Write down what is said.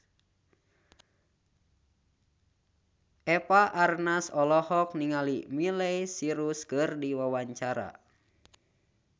Eva Arnaz olohok ningali Miley Cyrus keur diwawancara